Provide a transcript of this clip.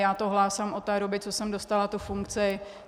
Já to hlásám od té doby, co jsem dostala tu funkci.